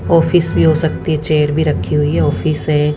Office भी हो सकती चेयर भी रखी हुई है ऑफिस है।